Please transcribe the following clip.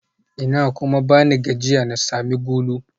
Ina kuma bani gajiya na sami gulu?